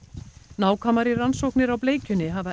nákvæmari rannsóknir á bleikjunni hafa